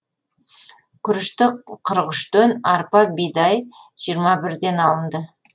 күрішті қырық үштен арпа бидай жиырма бірден алынды